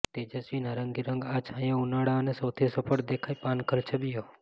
તેજસ્વી નારંગી રંગ આ છાંયો ઉનાળા અને સૌથી સફળ દેખાય પાનખર છબીઓ